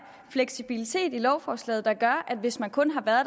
fleksibilitet i lovforslaget der gør at hvis man kun har